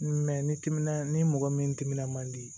ni timinan ni mɔgɔ min dimin ma di